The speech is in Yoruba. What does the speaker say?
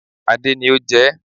Adé ni o jẹ